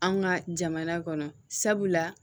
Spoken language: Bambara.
An ka jamana kɔnɔ sabula